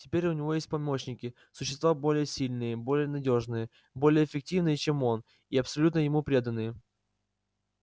теперь у него есть помощники существа более сильные более надёжные более эффективные чем он и абсолютно ему преданные